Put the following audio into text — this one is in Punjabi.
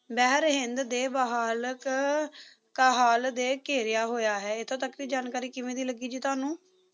ਬਹਿ ਰਹੇ ਹਿੰਦ ਦੇ ਵਹਾਲਕ ਕਹਾਲ ਦੇ ਘੇਰਿਆ ਹੋਇਆ ਹੈ ਇੱਥੋਂ ਤੱਕ ਦੀ ਜਾਣਕਾਰੀ ਕਿਵੇਂ ਦੀ ਲੱਗੀ ਜੀ ਤੁਹਾਨੂੰ